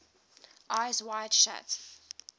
eyes wide shut